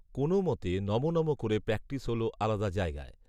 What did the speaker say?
কোনও মতে নমঃ নমঃ করে প্র্যাকটিস হল আলাদা জায়গায়